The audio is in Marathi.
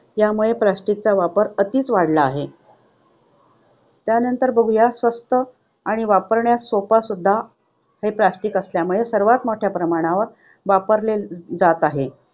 त्यामुळे plastic चा वापर अतिच वाढला आहे. स्वस्त आणि वापरण्यास सोपा सुद्धा हे plastic असल्यामुळे सर्वात मोठ्या प्रमाणावर वापरले जात आहेत